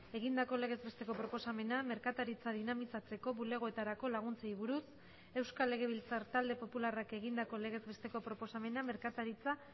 egindako legez besteko proposamena merkataritza dinamizatzeko bulegoetarako laguntzei buruz euskal legebiltzar talde popularrak egindako legez besteko proposamena merkataritza